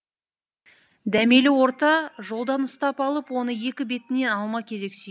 дәмелі орта жолдан ұстап алып оны екі бетінен алма кезек сүйді